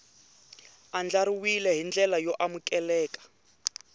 andlariwile hi ndlela yo amukeleka